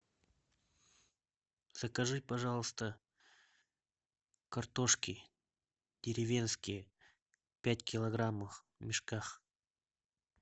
закажи пожалуйста картошки деревенской пять килограммов в мешках